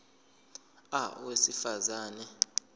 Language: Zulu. a owesifaz ane